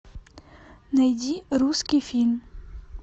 найди русский фильм